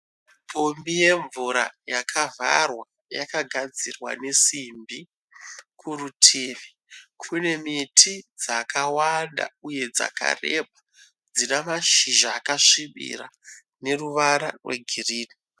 Pombi yemvura yakavharwa yakagadzirwa nesimbi. Kurutivi kune miti dzakawanda uye dzakareba dzina mashizha akasvibira neruvara rwegirini.